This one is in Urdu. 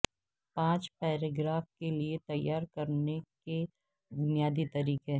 پانچ پیراگراف کے لئے تیار کرنے کے بنیادی طریقہ